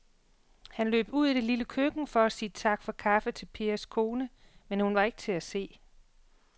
Han løb ud i det lille køkken for at sige tak for kaffe til Pers kone, men hun var ikke til at se.